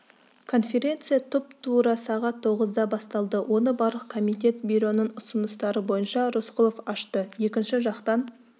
конференция тұп-тура сағат тоғызда басталды оны барлық комитет бюроның ұсыныстары бойынша рысқұлов ашты екінші жақтан